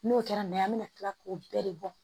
N'o kɛra n'a ye an bɛna tila k'o bɛɛ de bɔ